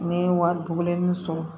Ne ye wari duguni sɔrɔ